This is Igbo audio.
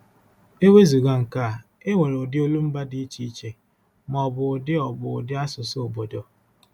E wezụga nke a, e nwere ụdị olumba dị iche iche, ma ọ bụ ụdị ọ bụ ụdị asụsụ obodo.